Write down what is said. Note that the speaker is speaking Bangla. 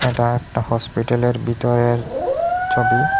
এটা একটা হসপিটালের ভিতরের ছবি।